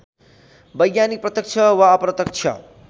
वैज्ञानिक प्रत्यक्ष वा अप्रत्यक्ष